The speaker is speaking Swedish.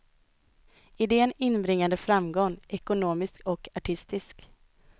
Idén inbringade framgång, ekonomisk och artistisk.